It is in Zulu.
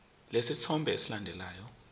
lesi sithombe esilandelayo